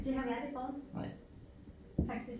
Det har vi aldrig prøvet faktisk